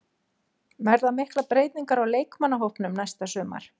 Verða miklar breytingar á leikmannahópnum næsta sumar?